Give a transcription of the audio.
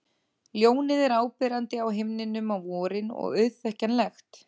Ljónið er áberandi á himninum á vorin og auðþekkjanlegt.